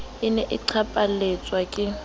e ne e qaphaletswa ke